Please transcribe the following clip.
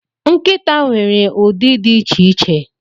Nkịta nwere ụdị dị iche iche.